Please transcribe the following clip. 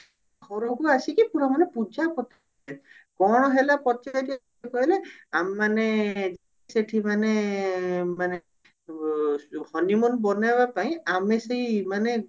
ଘରକୁ ଆସିକି ପୁରା ମାନେ ପୂଜା କଣ ହେଲା କଣ ହେଲା ପଚାରିବାକୁ ହେଲେ ଆମେ ମାନେ ସେଠି ମାନେ ମାନେ ଅ honey moon ବନେଇବା ପାଇଁ ଆମେ ସେଇ ମାନେ